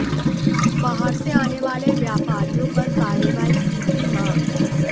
बाहर से आने वाले व्यापारियों पर कार्रवाई की थी मांग